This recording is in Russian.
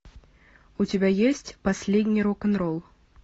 у тебя есть последний рок н ролл